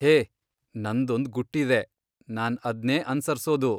ಹೇ, ನಂದೊಂದ್ ಗುಟ್ಟಿದೆ, ನಾನ್ ಅದ್ನೇ ಅನ್ಸರ್ಸೋದು.